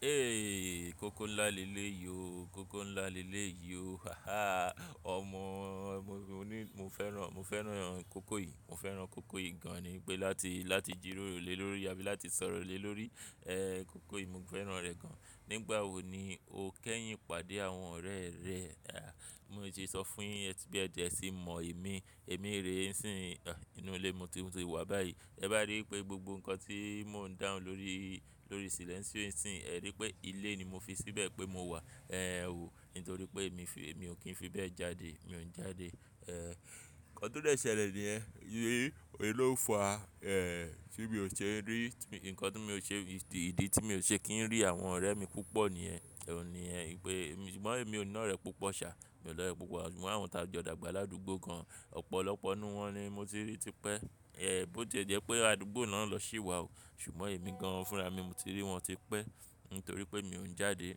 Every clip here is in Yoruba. Eeeh, kókó ńlá le lé yì o, kókó ńlá le lé yì ó. Haha. Ọmọ, mo ní mo fẹ́ràn, mo fẹ́ràn kókó yìí, mo fẹ́ràn kókó yìí gan-an ni pé láti, láti jìròrò lé lórí rí àbí láti sọ̀rọ̀ lé lórí, eh, kókó yìí mo fẹ́ràn rẹ̀ gan-an. Nígbà wo ni o kẹ́yìn pàdé àwọn ọ̀rẹ́ rẹ? Aà, bí mo ti sọ fún yi ẹ tí bí ẹ dẹ́ ẹ sì mọ èmi, èmi rè ni sín inú ilé mo tí mo ti wà báyìí. Ẹ bá rí i pé gbogbo nǹkan tí mò ń dáhùn lórí, lórí silence yìí, ẹ rí i pé ilé ni mo fi síbẹ̀ pé mo wà, eh, wò. Nítorí pé èmi fi-- èmi ò kí ń fi bẹ́ẹ̀ jáde, mi ò ń jáde. Eh, nǹkan tó dẹ́ ṣẹ̀lẹ́ ni ẹ́. N ló ń fa, eh, tí mi ò ṣe rí, nǹkan tí mi ò ṣe, ìdí tí mi ò ṣe kí ń rí àwọn ọ̀rẹ́ mi púpọ̀ ní ẹ́, ní ẹ́ pé ṣùgbọ́n èmi ò ní ọ̀rẹ́ púpọ̀ ṣà, mi ò ní ọ̀rẹ́ púpọ̀ ṣùgbọ́n àwọn tí a jọ dàgbà ládùúgbò gan-an, ọ̀pọ̀lọpọ̀ nínú wọn ni mo ti rí tipẹ́. Eh, bó ti jẹ́ pé àdúgbò náà ń lọ sí ìwà o, ṣùgbọ́n èmi gan-an fúnra mi mo ti rí wọn tipẹ́. Nítorí pé mi ò ń jáde,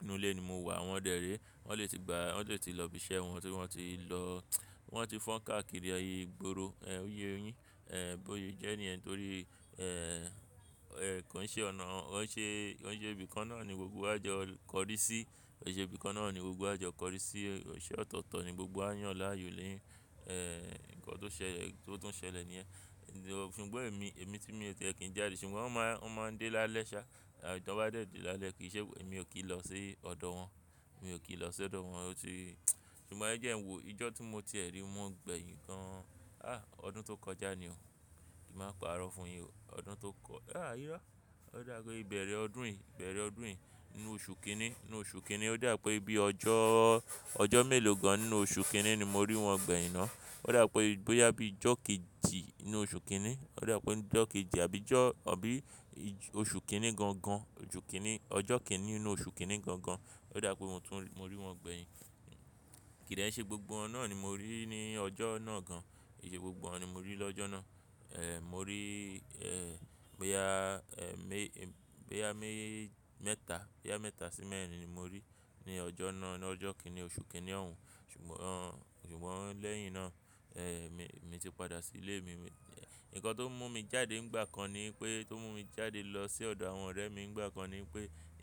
inú ilé ni mo wà awọ́n dẹ̀ ré. Wọ́n lè ti gbà, wọ́n lè ti lọ ibi iṣẹ́ wọn tí wọ́n ti lọ wọ́n ti fọ́n káàkiri eyi gboro. Eh, ó yé yin. Eh, bó ti jẹ́ ní ẹ́ nítorí, eh, eh, kò ń ṣe ọ̀nà, kò ń ṣe, kò ń ṣe ibi kán náà ni gbogbo wà jọ kọrí sí, kò ṣe ibi kán náà ni gbogbo wà jọ kọrí sí, iṣe ọ̀tọ̀tọ̀ ni gbogbo a yàn láàyò léèyín, eh, nǹkan tó ṣẹlẹ̀, tó tún ṣẹlẹ̀ ní yẹ́n. Ṣùgbọ́n èmi, èmi tí mi ò tìẹ́ kí ń jáde ṣùgbọ́n wọ́n máa, wọ́n máa ń dé lálẹ́ ṣá. T'wọ́n ba dẹ dè lálẹ́ kí ì ṣe èmi ò kí ń lọ sí ọ̀dọ̀ wọn, mi ò kí ń lọ sí ọ̀dọ̀ wọn ó ti. Ṣùgbọ́n ẹ jẹ́ ń wò, ọjọ́ tí mo ti ẹ rí wọn gbẹ̀yìn gan, ah, ọdún tó kọjá ni o. Èmi máa ń parọ́ fún yin o. Ọdún tó kọ-- ah, irọ́. Ó dà pé bẹ̀rẹ̀ ọdún yìí, bẹ̀rẹ̀ ọdún yìí nínú oṣù kínní, nínú oṣù kínní ó dà pé bí ọjọ́, ọjọ́ mélòó gan-an nínú oṣù kínní ni mo rí wọn gbẹ̀yìn náà. Ó dàbi pé bóyá bí ọjọ́ kejì nínú oṣù kínní, ó dà pé bípe ọjọ́ kejì àbí ọjọ́, àbí oṣù kínní gan-an, oṣù kínní, ọjọ́ kìn-ín-ní nínú oṣù kínní gan-an ó dà pé mo tún, mo rí wọn gbẹ̀yìn. Kìdẹ̀ ṣe gbogbo wọ̀n nà ni mo rí ní ọjọ́ náà gan-an. Kì í ṣe gbogbo wọ̀n ni mo rí lọ́jọ́ náà. Eh, mo rí, eh, bóyá, eh, mé, bóyá mé mẹ́ta, bóyá mẹ́ta sí mẹ́rin ni mo rí ní ọjọ́ náà nínú ọjọ́ kìn-ín-ní oṣù kínní ọ̀hún. Ṣùgbọ́n, ṣùgbọ́n lẹ́yìn náà, eh, mi, mo ti padà sí ilé mi. Ǹnkan tó mú mi jáde nígbà kan ni pé, tó mú mi jáde lọ sí ọ̀dọ̀ àwọn ọ̀rẹ́ mi nígbà kan ni pé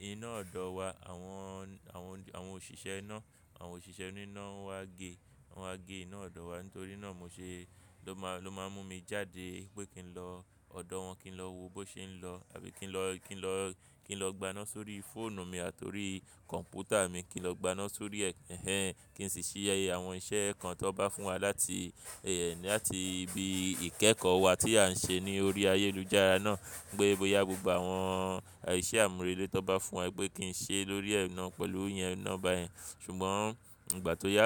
iná ọ̀dọ̀ wa àwọn, àwọn, àwọn òṣìṣẹ́ iná, àwọn òṣìṣẹ́ oní iná ń wá gé, wọ́n wá gé iná ọ̀dọ̀ wa nítorí náà mo ṣe ló má, ló máa ń mú mi jáde pé kí n lọ ọ̀dọ̀ wọn kí n lọ wo bó ṣe ń lọ àbí kí n lọ, kí n lọ, kí n lọ gbana sórí fóònù mi àti orí kọ̀ǹpútà mi kí n lọ gbana sórí ẹ́, kí n sì ṣíṣe àwọn iṣẹ́ kan tó bá fún wa láti, láti ibi ìkẹ́kọ̀ọ́ wa tí à ń ṣe ní orí ayélujára náà. Pé bóyá gbogbo àwọn iṣẹ́ àmúrelé tó bá fún wa gbé kí n ṣe lórí ẹ̀nà pẹ̀lú ìyẹn náà báyẹn. Ṣùgbọ́n ìgbà tó yá,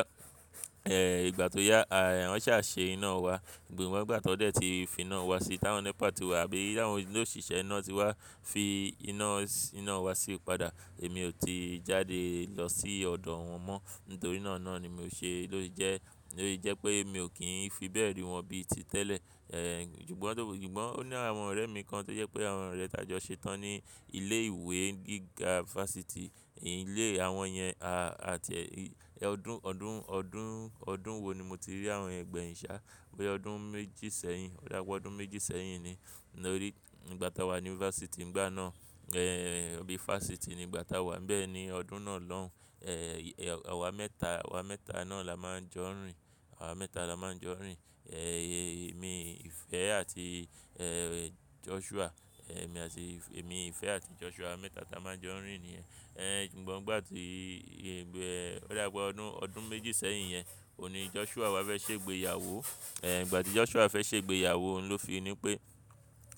eh, ìgbà tó yá, à, wọ́n sá ṣe iná wa gbìgbọ́ ìwọ́n ìgbà tí wọ́n dẹ̀ ti fi iná wa sí táwọn nẹ́pà tó wà bí i àwọn olóṣìṣẹ́ iná ti wá fi iná, iná wa sí padà èmi ò ti jáde lọ sí ọ̀dọ̀ wọn mọ́. Nítorí náà náà ni mo ṣe ló ti jẹ́, ló ti jẹ́ pé mi ò kí ń fi bẹ́ẹ̀ rí wọn bí i ti tẹ́lẹ̀. Eh, ṣùgbọ́n, ṣùgbọ́n ó ní àwọn ọ̀rẹ́ mi kan tó jẹ́ pé àwọn ọ̀rẹ́ tí a jọ ṣetán ní ilé ìwé gíga fásitì. Ilé àwọn yẹn, a, àti ẹ́, ọdún, ọdún, ọdún, ọdún wo ni mo ti rí àwọn yẹn gbẹ̀yìn sá. Bí i ọdún méjì sẹ́yìn, ó dà pé ọdún méjì sẹ́yìn ni lórí ìgbà táa wà ní fásitì nígbà náà. Eh, bí i fásitì ní ìgbà táa wà ń bẹ́ẹ̀ ni ọdún náà lóhùn, eh, àwa mẹ́ta, àwa mẹ́ta náà la máa ń jọ rìn. Àwa mẹ́ta la máa ń jọ rìn. Eh, èmi, Ifẹ́ àti, eh, Joshua. Eh, èmi àti, èmi, Ifẹ́ àti Joshua mẹ́ta ta máa ń jọ rìn nìyẹn. Eh, ṣùgbọ́n ìgbà tí, ìgbà, ó dà pé ọdún, ọdún méjì sẹ́yìn yẹn, òní Joshua wá fẹ́ ṣe ìgbéyàwó. Eh, ìgbà tí Joshua fẹ́ ṣe ìgbéyàwó ló fi ni pé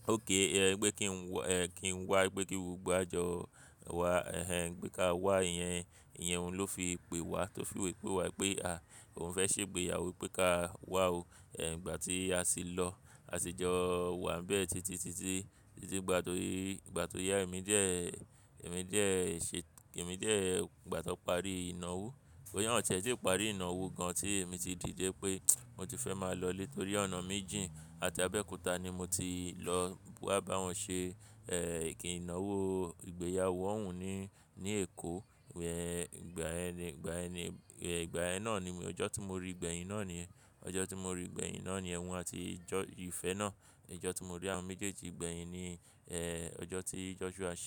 oké, pé kí n wọ, eh, kí n wá gbé gbogbo àjọ wá, ẹhen, pé ká wá iyẹn. Ìyẹn ló fi pe wá tó fi wí pé wá pé, à, òun fẹ́ ṣe ìgbéyàwó pé ká wá o. Eh, ìgbà tí a sì lọ, a sì jọ wá ń bẹ́ẹ̀ títí, títí, títí ìgbà tó, ìgbà tó yá èmi jẹ́, èmi jẹ́ ṣe, èmi jẹ́ ìgbà tó parí ìnáwó. Boyá wọ́n ò tiẹ́ ẹ ti parí ìnáwó gan-an tí èmi ti dìde pé mo ti fẹ́ máa lọ létó rí ọ̀nà méjì àti abẹ́òkúta ni mo ti lọ wá bá wọn ṣe, eh, ìké ìnáwó ìgbéyàwó òun ní, ní Èkó. Ǹjẹ́ ìgbà ẹni, ìgbà ẹni, eh, ìgbà ẹ náà ni, ọjọ́ tí mo rí gbẹ̀yìn náà ni, ọjọ́ tí mo rí gbẹ̀yìn náà ni ẹ́hún àti Ìjọ Ifẹ́ náà. Ọjọ́ tí mo rí àwọn méjèèjì gbẹ̀yìn ni, eh, ọjọ́ tí Joshua ṣe.